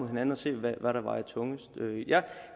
hinanden og se hvad der vejer tungest jeg